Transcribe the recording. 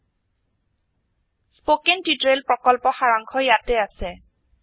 httpspoken tutorialorgWhat is a Spoken tutorial spoken tutorial প্ৰকল্পৰ সাৰাংশ ইয়াতে আছে